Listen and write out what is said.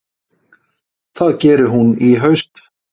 Það gerir hún í haust.